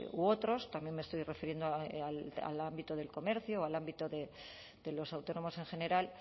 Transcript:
u otros también me estoy refiriendo al ámbito del comercio al ámbito de los autónomos en general